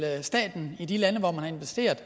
staten i de lande man har investeret